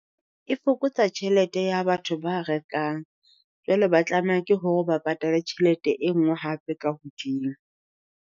E fokotsa tjhelete ya batho ba rekang, jwale ba tlameha ke hore o ba patale tjhelete e nngwe hape ka hodimo.